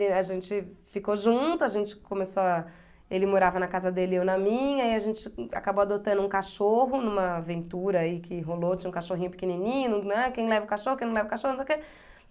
E a gente ficou junto, a gente começou a... ele morava na casa dele e eu na minha, e a gente acabou adotando um cachorro numa aventura aí que rolou, tinha um cachorrinho pequenininho, né, quem leva o cachorro, quem não leva o cachorro, não sei o quê.